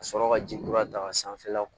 Ka sɔrɔ ka jeli kura dan sanfɛla